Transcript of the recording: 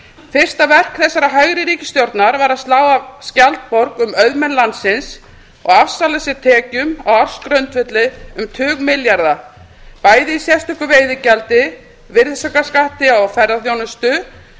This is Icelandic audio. fyrsta verk þessarar hægri ríkisstjórnar var að slá skjaldborg um auðmenn landsins og afsala sér tekjum á ársgrundvelli um tugmilljarða bæði í sérstöku veiðigjaldi virðisaukaskatti á ferðaþjónustu